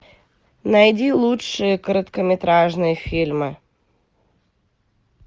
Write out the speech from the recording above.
найди лучшие короткометражные фильмы